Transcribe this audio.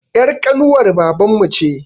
Er ƙanuwar baban mu ce